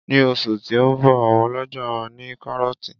Ní oṣù tí ó ń bọ̀ àwọn ọlọ́ja máa ní kárọ́tì